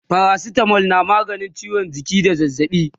paracetamol na maganin ciwon jiki da zazzaɓi